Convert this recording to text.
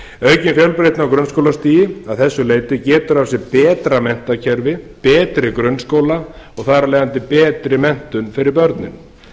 á grunnskólastigi að þessu leyti getur af sér betra menntakerfi betri grunnskóla og þar af leiðandi betri menntun fyrir börnin